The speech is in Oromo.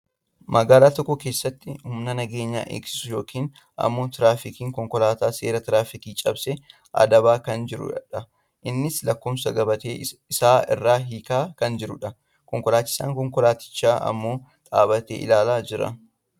Magaalaa tokko keessatti humna nageenya eegsisu yookin ammoo tiraafikiin konkolaataa seera tiraafika cabse adabaa kan jirudha. Innis lakkoofsa gabatee isaa irraa hiikaa kan jirudha. konkolachisaan konkolaatichaa ammoo dhaabbatee ilaalaa jira.